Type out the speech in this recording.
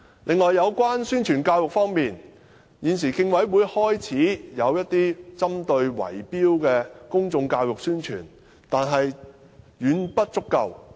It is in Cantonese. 此外，有關宣傳教育方面，現時競委會已開始進行一些針對圍標行為的公眾教育宣傳，但卻遠遠不足夠。